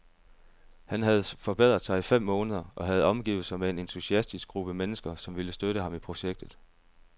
Han havde forberedt sig i fem måneder og havde omgivet sig med en entusiastisk gruppe mennesker, som ville støtte ham i projektet.